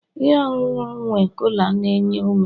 ihe ọṅụṅụ nwe cola na-enye ume